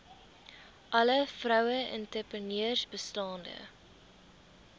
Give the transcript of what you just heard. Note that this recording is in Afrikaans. alle vroueentrepreneurs bestaande